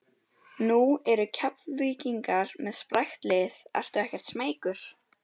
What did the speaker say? Nú eru Keflvíkingar með sprækt lið ertu ekkert smeykur?